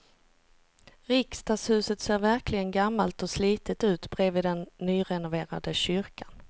Riksdagshuset ser verkligen gammalt och slitet ut bredvid den nyrenoverade kyrkan.